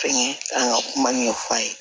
Fɛnkɛ an ka kuma ɲɛf'an ye